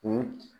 O